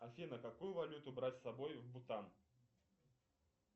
афина какую валюту брать с собой в бутан